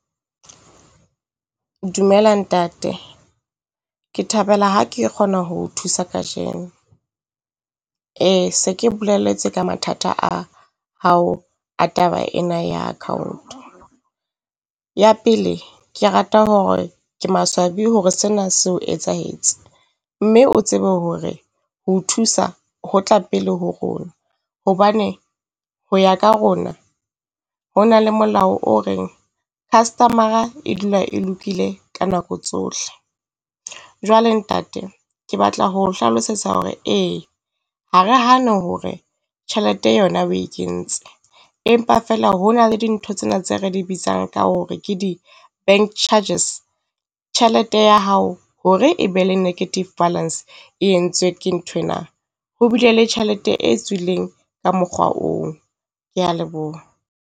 Dumela ntate, Ke thabela ha ke kgona ho o thusa kajeno. Ee se ke boleletse ka mathata a hao a taba ena ya account. Ya pele, ke rata hore ke maswabi hore sena se o etsahetse, mme o tsebe hore ho o thusa ho tla pele ho rona. Hobane ho ya ka rona, ho na le molao o reng customer-ra e dula e lokile ka nako tsohle. Jwale ntate, ke batla ho o hlalosetsa hore ee ha re hane hore tjhelete yona o e kentse, empa feela hona le dintho tsena tse re di bitsang ka hore ke di bank charges. Tjhelete ya hao hore e be le negative balance e entswe ke nthwena. Ho bile le tjhelete e tswileng ka mokgwa oo. Kea leboha.